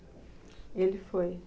Ele foi.